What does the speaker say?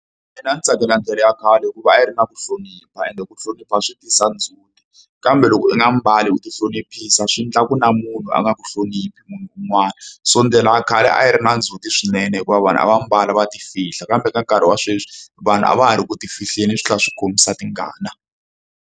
Mina ndzi tsakela ndlela ya khale hikuva a yi ri na ku hlonipha ende ku hlonipha swi tisa ndzhuti kambe loko i nga mbali ku tihloniphisa swi endlaku na munhu a nga ku hloniphi munhu un'wana so ndlela a khale a yi ri na ndzhuti swinene hikuva vanhu a va mbala va tifihla kambe ka nkarhi wa sweswi vanhu a va ha ri ku tifihleni swi tlhela swi kombisa tingana.